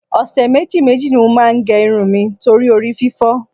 Ọ̀sẹ̀ méjì méjì ni mo máa ń gẹ irun mi torí orí fífọ́